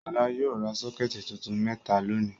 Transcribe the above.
Ṣọlá yóò ra sọ́kẹ́tì tuntun mẹ́ta lónìí.